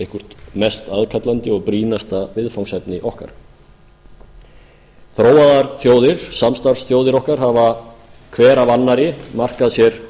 eitthvert mest aðkallandi og brýnasta viðfangsefni okkar þróaðar þjóðir samstarfsþjóðir okkar hafa hver af annarri markað sér